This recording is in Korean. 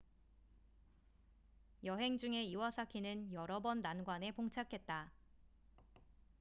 여행 중에 이와사키는 여러 번 난관에 봉착했다